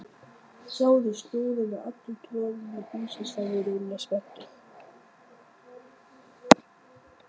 Sjáðu, snjórinn er allur troðinn við húsið sagði Lúlli spenntur.